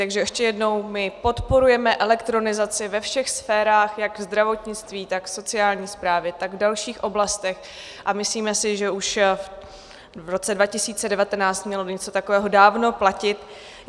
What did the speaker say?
Takže ještě jednou - my podporujeme elektronizaci ve všech sférách, jak ve zdravotnictví, tak v sociální správě, tak v dalších oblastech, a myslíme si, že už v roce 2019 mělo něco takového dávno platit.